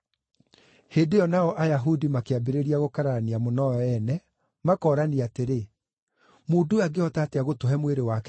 Hĩndĩ ĩyo nao Ayahudi makĩambĩrĩria gũkararania mũno o ene, makoorania atĩrĩ, “Mũndũ ũyũ angĩhota atĩa gũtũhe mwĩrĩ wake tũrĩe?”